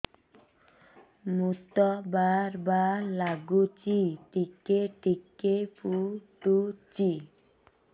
ମୁତ ବାର୍ ବାର୍ ଲାଗୁଚି ଟିକେ ଟିକେ ପୁଡୁଚି